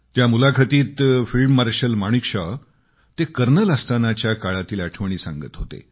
त्या मुलाखतीत field marshal Manekshaw ते कर्नल असतानाच्या काळातील आठवणी सांगत होते